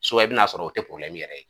i bi n'a sɔrɔ o tɛ yɛrɛ ye.